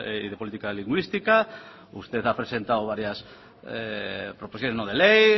y de política lingüística usted ha presentado varias proposiciones no de ley